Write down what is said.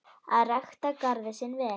Að rækta garðinn sinn vel.